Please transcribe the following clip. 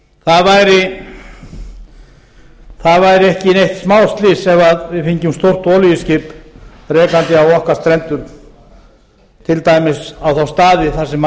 það væri ekkert smáslys ef við fengjum stórt olíuskip rekandi á okkar strendur til dæmis á þá staði þar sem